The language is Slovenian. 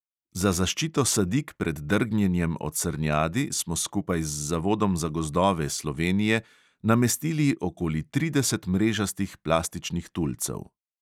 Za zaščito sadik pred drgnjenjem od srnjadi smo skupaj z zavodom za gozdove slovenije namestili okoli trideset mrežastih plastičnih tulcev.